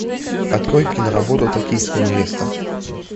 открой киноработу токийская невеста